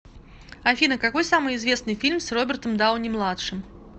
афина какой самый известный фильм с робертом дауни младшим